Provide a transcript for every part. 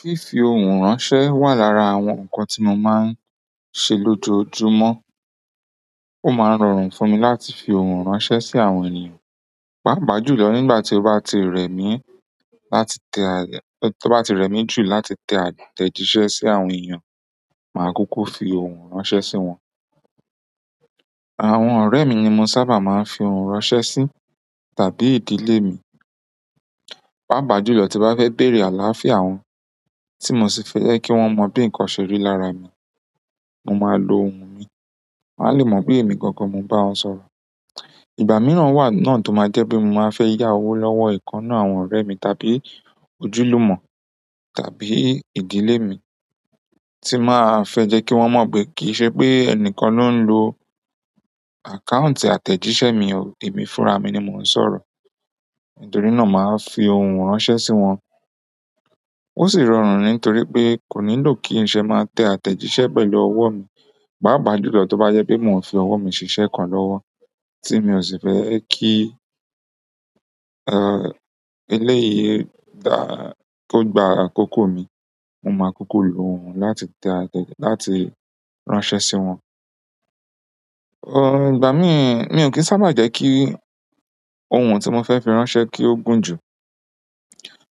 Fífi ohùn ránṣẹ́ wà lára àwọn ǹkan tí mo máa ń ṣe lójoojúmọ́. Ó máa ń rọrùn fún mi láti fi ohùn ránṣẹ́ sí àwọn ènìyàn. Paapa júlọ̀ nígbà tí ó bá ti rẹ̀ mí láti tẹ à tẹ́ to bá ti rẹ̀ mí jù láti tẹ àtẹ̀jíṣẹ́ sí àwọn ènìyàn, màá kuku fi ohùn ránṣẹ́ sí wọn. Àwọn ọ̀rẹ́ mi ni mo sábà máa ń fi ohùn ránṣẹ́ sí tàbí ìdílé mi. Paapa júlọ̀ tí bá fẹ́ bẹ̀rẹ̀ àlááfíà wọn, tí mo sì fẹ́ kí wọ́n mọ bí ǹkan ṣe rí lára mi, mo máa lo ohùn mi. Won a le mo boya emi gangan mo n ba won sọ̀rọ̀. Ìgbà mìíràn wà náà tó máa jẹ́ pé mo máa fẹ́ yá owó lọ́wọ́ ìkannà àwọn ọ̀rẹ́ mi tàbí ojúlùmọ̀ tàbí ìdílé mi tí màá fẹ́ jẹ́ kí wọ́n mọ̀ pé kì í ṣe pé ẹnikẹ́ni ló ń lo àkáùntì àtẹ̀jíṣẹ́ mi, èmi fúnra mi ni mò ń sọ̀rọ̀. Nítorí náà màá fi ohùn ránṣẹ́ sí wọn. Osi rọrùn nitoripe ko nílò kinse ma te àtẹ̀jíṣẹ́ pẹ̀lú owo mi, paapà júlọ̀ tó bá yẹ pé mò ń fi ọwọ́ mi ṣiṣẹ́ kan lọ́wọ́ tí mi ò sì fẹ́ kí, eléyìí dá kò gba àkókò mi, mo máa kuku lo ohùn láti tẹ àtẹ̀ jí láti ránṣẹ́ sí wọn. Ìgbà míìn, mi ò kì í sábà jẹ́ kí ohun tí mò fẹ́ fi ránṣẹ́ kí ó gún jù,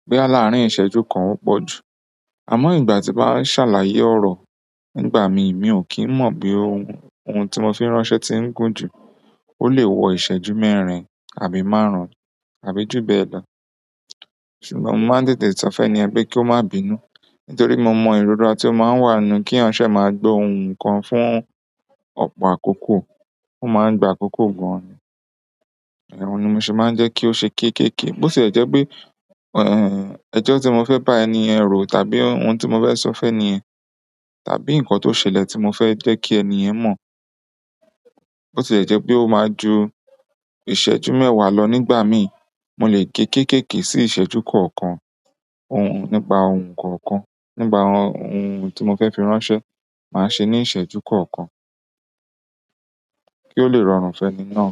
boya aláárín ìṣẹ́jú kan ó pọ̀ jù. Àmọ́ ìgbà tí bá ń ṣàlàyé ọ̀rọ̀ nígbà mi, mi ò kí ń mọ̀ bí ohun, ohun tí mò fi ránṣẹ́ ti ń gún jù. Ole wo iseju mẹ́rin tàbí maarun. Ṣùgbọ́n mo máa ń tètè sọfẹ eniyen pe kio má bínu. Nítorí mo mọ ìrora tí ó máa ń wà nù kí ránṣẹ́ máa gbo ohun kan fún ọ̀pọ̀ àkókò, ó máa ń gba àkókò gùn. Ọ̀hun mo sì máa ń jẹ́ kí ó ṣe kéékèèké. Bó ti jẹ́ pé, ẹ́ẹ́, ẹjọ́ tí mò fẹ́ bá ènìyàn rò tàbí ohun tí mò fẹ́ sọ fẹ́ ènìyàn tàbí ǹkan tó ṣẹlẹ̀ tí mò fẹ́ jẹ́ kí ènìyàn mọ̀, bó ti jẹ́ pé ó máa ju ìṣẹ́jú mẹ́wàá lọ nígbà mi, mò lè gé kéékèèké sí ìṣẹ́jú kọ̀ọ̀kan. Ohun, nípa ohun kọ̀ọ̀kan. Nípa àwọn ohun tí mò fẹ́ fi ránṣẹ́, màá ṣe ní ìṣẹ́jú kọ̀ọ̀kan kí ó lè rọrùn fẹ́ni náà.